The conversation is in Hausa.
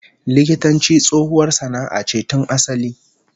Likitanci tsohuwar sana'a ce tun asali